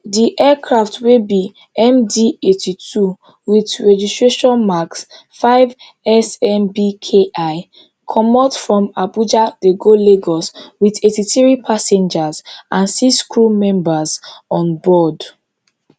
di aircraft wey be mdeighty-two wit registration marks fivesnbki comot from abuja dey go lagos wit eighty-three passengers and six crew members onboard